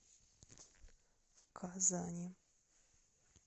казани